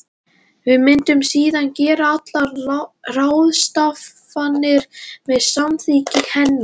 Við myndum síðan gera allar ráðstafanir með samþykki hennar.